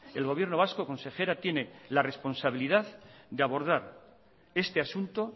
el gobierno vasco consejera tiene la responsabilidad de abordar este asunto